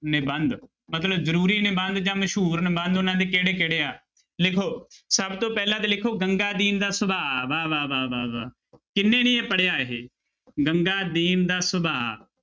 ਨਿਬੰਧ ਮਤਲਬ ਜ਼ਰੂਰੀ ਨਿਬੰਧ ਜਾਂ ਮਸ਼ਹੂਰ ਨਿਬੰਧ ਉਹਨਾਂ ਦੇ ਕਿਹੜੇ ਕਿਹੜੇ ਆ ਲਿਖੋ ਸਭ ਤੋਂ ਪਹਿਲਾਂ ਤਾਂ ਲਿਖੋ ਗੰਗਾ ਦੀਨ ਦਾ ਸੁਭਾ ਵਾਹ-ਵਾਹ, ਵਾਹ-ਵਾਹ, ਵਾਹ ਕਿਹਨੇ ਨੀ ਇਹ ਪੜ੍ਹਿਆ ਇਹ ਗੰਗਾਦੀਨ ਦਾ ਸੁਭਾ।